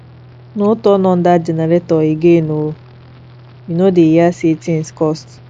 no turn on dat generator again oo you no dey hear say things cost